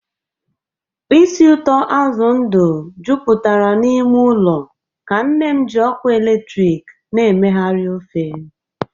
ísì ụtọ azụ ndụ jupụtara n'ime ụlọ ka nne m ji ọkụ eletrik na-emegharị ofe.